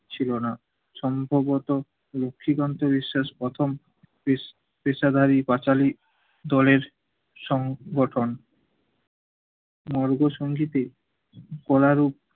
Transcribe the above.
ছিলো না। সম্ভবত লক্ষীকান্ত বিশ্বাস প্রথম পেশ~ পেশাধারী পাঁচালী দলের সংগঠন। মর্গসংগীতে কলারু